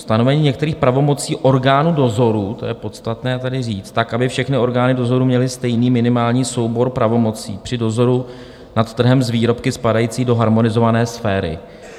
Stanovení některých pravomocí orgánů dozoru, to je podstatné tedy říct, tak, aby všechny orgány dozoru měly stejný minimální soubor pravomocí při dozoru nad trhem s výrobky spadající do harmonizované sféry.